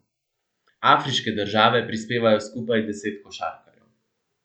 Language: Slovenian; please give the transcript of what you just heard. Afriške države prispevajo skupaj deset košarkarjev.